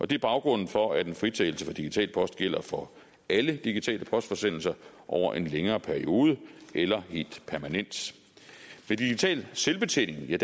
det er baggrunden for at en fritagelse for digital post gælder for alle digitale postforsendelser over en længere periode eller helt permanent ved digital selvbetjening er